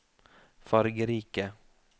fargerike